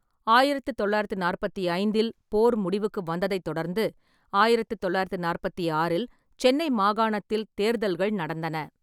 ஆயிரத்து தொள்ளாயிரத்து நாற்பத்தி ஐந்தில் போர் முடிவுக்கு வந்ததைத் தொடர்ந்து, ஆயிரத்து தொள்ளாயிரத்து நாற்பத்தி ஆறில் சென்னை மாகாணத்தில் தேர்தல்கள் நடந்தன.